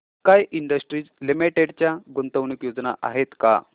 sky Industries Limited च्या गुंतवणूक योजना आहेत का